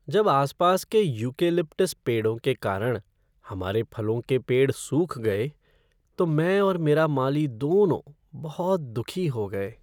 जब आस पास के यूकेलिप्टस पेड़ों के कारण हमारे फलों के पेड़ सूख गए तो मैं और मेरा माली दोनों बहुत दुखी हो गए।